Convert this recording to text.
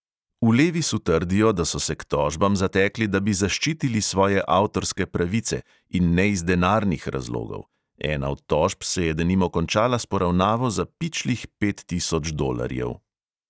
V levisu trdijo, da so se k tožbam zatekli, da bi zaščitili svoje avtorske pravice, in ne iz denarnih razlogov; ena od tožb se je denimo končala s poravnavo za pičlih pet tisoč dolarjev.